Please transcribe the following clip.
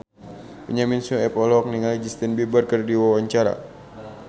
Benyamin Sueb olohok ningali Justin Beiber keur diwawancara